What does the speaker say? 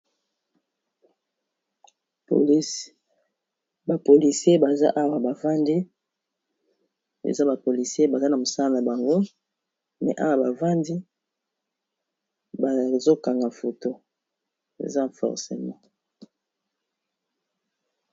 Eza bapolisi baza na mosala na bango me awa bavandi bazokanga foto eza forcemi